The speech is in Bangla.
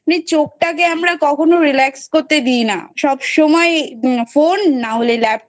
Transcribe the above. চোখ টাকে আমরা কখনো relax করতে দিই না সবসময়ই Phone না হলে laptop